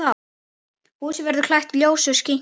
Húsið verður klætt ljósu sinki.